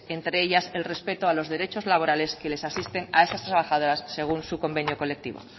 entre ellas el respeto a los derechos laborales que les asisten a estas trabajadoras según su convenio colectivo